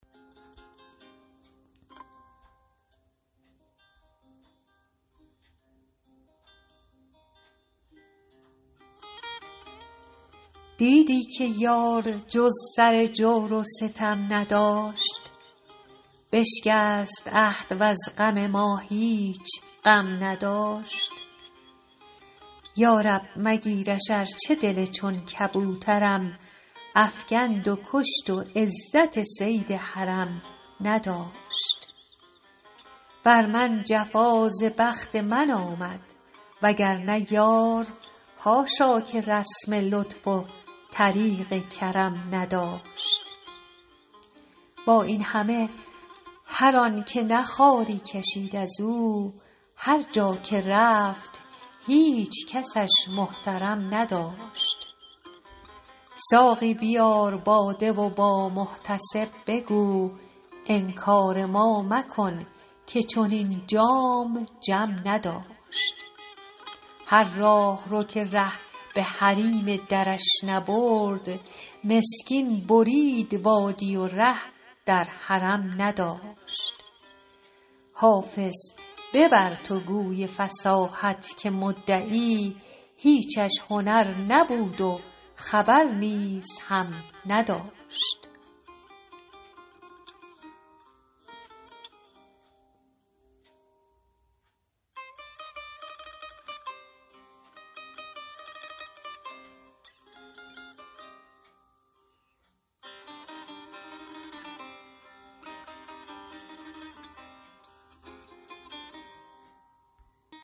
دیدی که یار جز سر جور و ستم نداشت بشکست عهد وز غم ما هیچ غم نداشت یا رب مگیرش ارچه دل چون کبوترم افکند و کشت و عزت صید حرم نداشت بر من جفا ز بخت من آمد وگرنه یار حاشا که رسم لطف و طریق کرم نداشت با این همه هر آن که نه خواری کشید از او هر جا که رفت هیچ کسش محترم نداشت ساقی بیار باده و با محتسب بگو انکار ما مکن که چنین جام جم نداشت هر راهرو که ره به حریم درش نبرد مسکین برید وادی و ره در حرم نداشت حافظ ببر تو گوی فصاحت که مدعی هیچش هنر نبود و خبر نیز هم نداشت